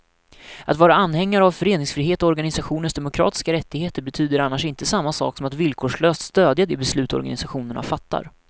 Att vara anhängare av föreningsfrihet och organisationers demokratiska rättigheter betyder annars inte samma sak som att villkorslöst stödja de beslut organisationerna fattar.